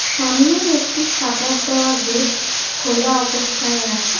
সামনেই একটি সাটার দেওয়া গেট খোলা অবস্থায় আছে ।